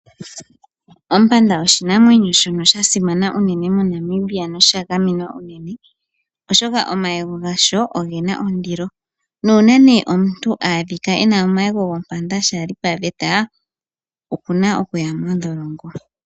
Ompanda oshinamwenyo shono sha simana unene moNamibia noshagamenwa unene, oshoka omayego gasho oge na ondilo, nuuna ne omuntu a adhika e na omayego gompanda shaa li paveta oku na okuya mondholongo.